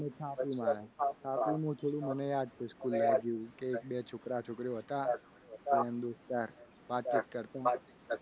પછી અમે થરાદમાં આવ્યા. તાપીમાં મને હું થયેલું મને યાદ છે. school માં જેવું તે એક બે છોકરા છોકરીઓ હતા. એવા દોસ્તાર વાતચીત કરતા. નાનપણમાં